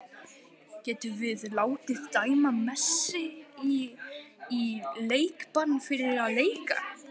Getum við látið dæma Messi í leikbann fyrir að leika?